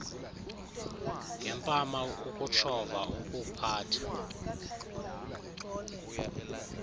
ngempama ukutshova ukuphatha